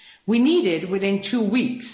we need it within two weeks.